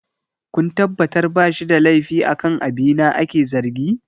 kun tabbatar ba shi da laifi akan abina ake zargi!